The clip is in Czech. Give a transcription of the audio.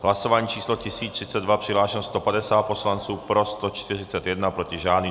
Hlasování číslo 1032, přihlášeno 150 poslanců, pro 141, proti žádný.